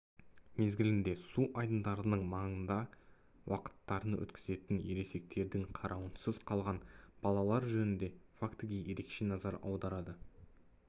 мезгілінде су айдындарының маңында уақыттарын өткізетін ересектердің қарауынсыз қалған балалар жөнінде фактіге ерекше назар аударды